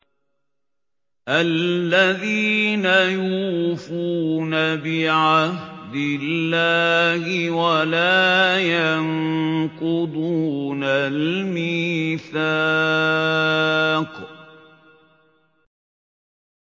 الَّذِينَ يُوفُونَ بِعَهْدِ اللَّهِ وَلَا يَنقُضُونَ الْمِيثَاقَ